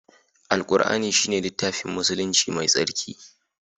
Alqur'ani shine littafin musulunci mai tsarki.